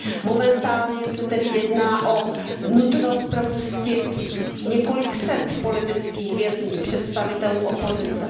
Momentálně se tedy jedná o nutnost propustit několik set politických vězňů, představitelů opozice.